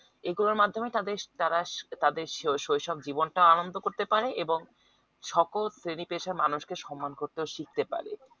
এইগুলার মাধ্যমে তাদের তারা তাদের শৈশব জীবন তা আনন্দ করতে পারে এবং সকল Dedication মানুষকে সম্মান করতে শিখতে পারে